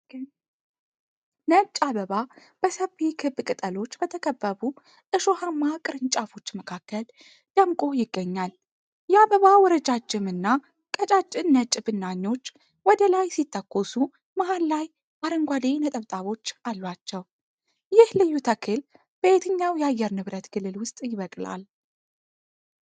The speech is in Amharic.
ነጭ አበባ በሰፊ ክብ ቅጠሎች በተከበቡ እሾሃማ ቅርንጫፎች መካከል ደምቆ ይገኛል። የአበባው ረጃጅም እና ቀጫጭን ነጭ ብናኞች ወደ ላይ ሲተኮሱ መሃል ላይ አረንጓዴ ነጠብጣቦች አሏቸው። ይህ ልዩ ተክል በየትኛው የአየር ንብረት ክልል ውስጥ ይበቅላል?